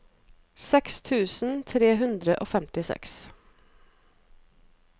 seks tusen tre hundre og femtiseks